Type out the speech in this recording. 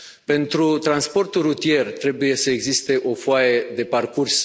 Pentru transportul rutier, trebuie să existe o foaie de parcurs.